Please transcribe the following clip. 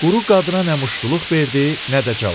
Quru qadına nə muştuluq verdi, nə də cavab.